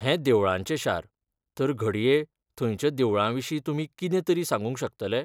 हें देवळांचें शार, तर घडये थंयच्या देवळां विशीं तुमी कितें तरी सांगूंक शकतले?